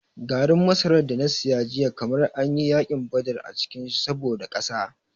Garin masarar da na saya jiya kamar an yi yakin badar a cikin shi saboda ƙasa.